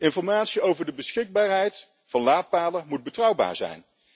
Informatie over de beschikbaarheid van laadpalen moet betrouwbaar zijn.